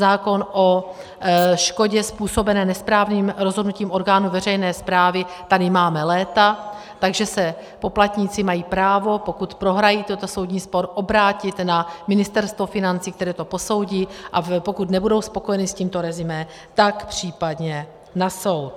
Zákon o škodě způsobené nesprávným rozhodnutím orgánu veřejné správy tady máme léta, takže se poplatníci mají právo, pokud prohrají tento soudní spor, obrátit na Ministerstvo financí, které to posoudí, a pokud nebudou spokojeni s tímto resumé, tak případně na soud.